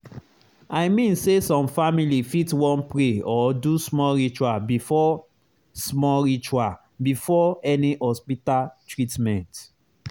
i mean say some family fit wan pray or do small ritual before small ritual before any hospita treatment